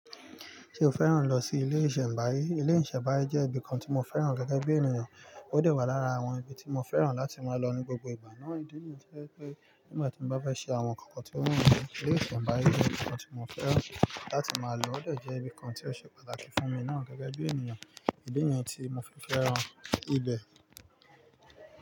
Ṣé o fẹ́ràn lọ sí ilé ìṣẹ̀mbáyé? Ilé ìṣẹ̀mbáyé jẹ́ ibi kan tí mo fẹ́ràn gẹ́gẹ́ bí ènìyàn. Ó dà wá lára àwọn ibi tí mo fẹ́ràn láti máa lọ ní gbogbo ìgbà náà. Ìdí niyi to je i pé nígbà tí mo bá fe ṣe àwọn nǹkankan tí ó wù mí, ilé ìṣẹ̀mbáyé ni ibi kan tí mo fẹ́ràn láti máa lọ. Ó de jẹ́ ibi kan tí ó ṣe pàtàkì fún mi náà gẹ́gẹ́ bí ènìyàn. Ìdí yẹn ni tí mo fi fẹ́ràn ibẹ̀.